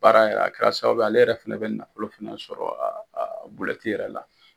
Baara yɛrɛ a kɛra sababuye ale yɛrɛ fana bɛ nafolo fana sɔrɔ bulɛti yɛrɛ la.